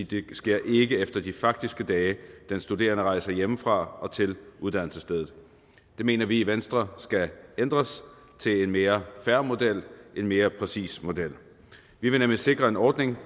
det ikke sker efter de faktiske dage den studerende rejser hjemmefra og til uddannelsesstedet det mener vi i venstre skal ændres til en mere fair model en mere præcis model vi vil nemlig sikre en ordning